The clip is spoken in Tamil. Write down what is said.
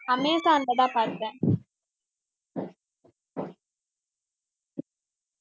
அமேசான்லதான் பாத்தேன்